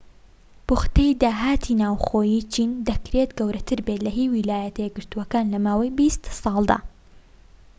پوختەی داهاتی ناوخۆیی چین دەکرێت گەورەتر بێت لە هی ویلایەتە یەکگرتوەکان لە ماوەی بیست ساڵدا